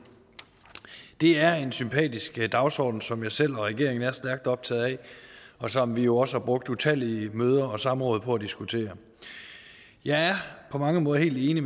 det er en sympatisk dagsorden som jeg selv og regeringen er stærkt optaget af og som vi jo også har brugt utallige møder og samråd på at diskutere jeg er på mange måder helt enig